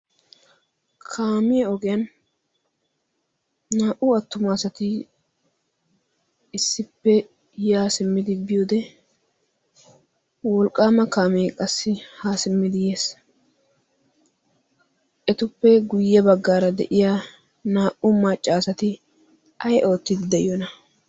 kaamee ogiyan naa'u attumaasati issippe yaa simmidi bi ode wolqqaama kaamee qassi haa simmidi yees etuppe guyye baggaara de'iya naa'u maccaasati ay oottiidi de'iyona?